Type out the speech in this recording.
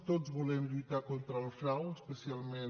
tots volem lluitar contra el frau especialment